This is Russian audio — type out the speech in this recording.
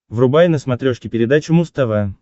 врубай на смотрешке передачу муз тв